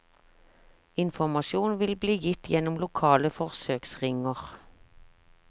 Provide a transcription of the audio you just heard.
Informasjon vil bli gitt gjennom lokale forsøksringer.